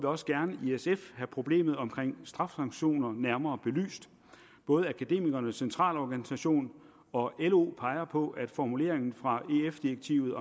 også gerne i sf have problemet omkring strafsanktioner nærmere belyst både akademikernes centralorganisation og lo peger på at formuleringen fra ef direktivet